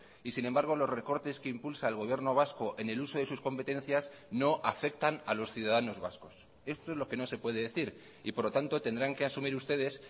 y sin embargo los recortes que impulsa el gobierno vasco en el uso de sus competencias no afectan a los ciudadanos vascos esto es lo que no se puede decir y por lo tanto tendrán que asumir ustedes